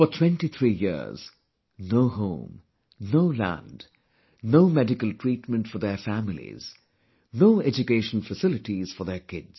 For 23 years no home, no land, no medical treatment for their families, no education facilities for their kids